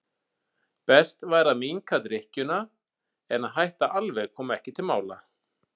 Best væri að minnka drykkjuna en að hætta alveg kom ekki til mála.